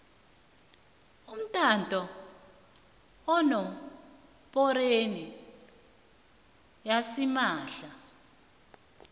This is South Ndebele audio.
umtato enomborweni yasimahla